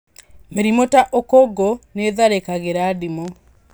Mĩrimũ ta ũkũngũ nĩ ĩtharĩkagĩra ndimũ